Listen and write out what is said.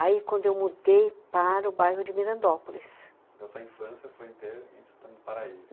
Aí, quando eu mudei para o bairro de Mirandópolis. A sua infância foi inteira em Santana do paraíso.